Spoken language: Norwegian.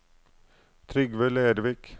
Trygve Lervik